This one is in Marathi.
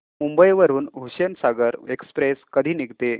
मुंबई वरून हुसेनसागर एक्सप्रेस कधी निघते